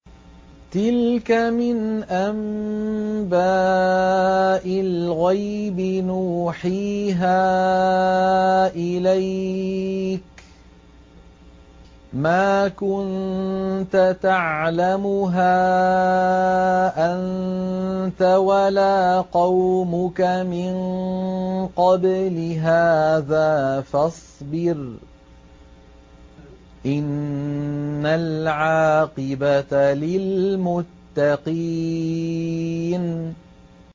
تِلْكَ مِنْ أَنبَاءِ الْغَيْبِ نُوحِيهَا إِلَيْكَ ۖ مَا كُنتَ تَعْلَمُهَا أَنتَ وَلَا قَوْمُكَ مِن قَبْلِ هَٰذَا ۖ فَاصْبِرْ ۖ إِنَّ الْعَاقِبَةَ لِلْمُتَّقِينَ